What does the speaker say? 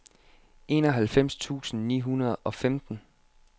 enoghalvfems tusind ni hundrede og femten